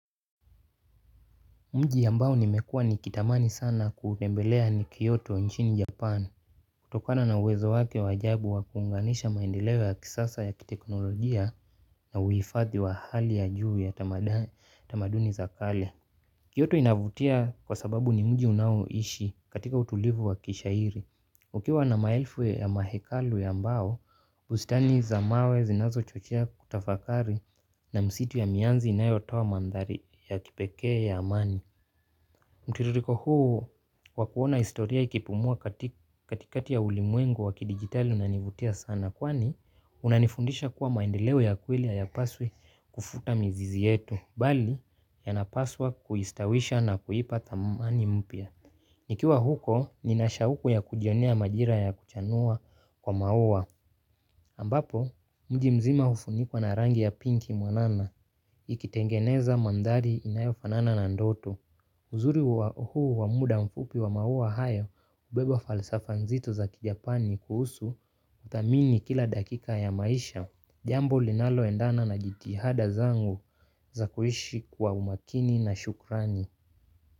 Mji ambao nimekuwa nikitamani sana kutembelea ni Kyoto nchini Japan. Kutokana na uwezo wake wa ajabu wa kuunganisha maendeleo ya kisasa ya kiteknolojia na uhifadhi wa hali ya juu ya tamaduni za kale. Kyoto inavutia kwa sababu ni mji unaoishi katika utulivu wa kishairi. Ukiwa na maelfu ya mahekalu ya mbao, bustani za mawe zinazochochea kutafakari na msitu ya mianzi inayotoa mandhari ya kipekee ya amani. Mtiririko huu wa kuona historia ikipumua katikati ya ulimwengu wa kidijitali unanivutia sana kwani unanifundisha kuwa maendeleo ya kweli hayapaswi kufuta mizizi yetu, bali yanapaswa kuistawisha na kuipa thamani mpya. Nikiwa huko, ninashauku ya kujionia majira ya kuchanua kwa maua. Ambapo, mji mzima hufunikwa na rangi ya pinki mwanana, ikitengeneza mandhari inayofanana na ndoto. Uzuri wa huu wa muda mfupi wa maua hayo hubeba falsafa nzito za kijapani kuhusu kuthamini kila dakika ya maisha. Jambo linaloendana na jitihada zangu za kuishi kwa umakini na shukrani.